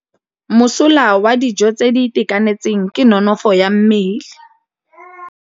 Mosola wa dijô tse di itekanetseng ke nonôfô ya mmele.